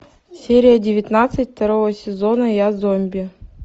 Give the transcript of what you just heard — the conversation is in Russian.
серия девятнадцать второго сезона я зомби